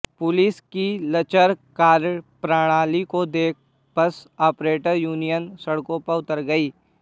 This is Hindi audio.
पुलिस की लचर कार्यप्रणाली को देख बस आपरेटर यूनियन सड़कों पर उतर गई